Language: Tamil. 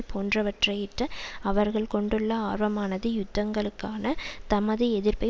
போன்றவற்றையிட்டு அவர்கள் கொண்டுள்ள ஆர்வமானது யுத்தங்களுக்கான தமது எதிர்ப்பை